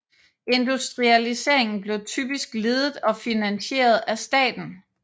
Industrialiseringen blev typisk ledet og finansieret af staten